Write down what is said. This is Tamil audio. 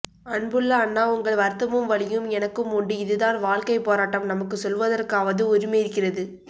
அன்புள்ள அண்ணா உங்கள் வருத்தமும் வலியும் எனக்கும் உண்டு இதுதான் வாழ்கை போராட்டம் நமக்கு சொல்வதற்காவது உரிமை இருக்கிறது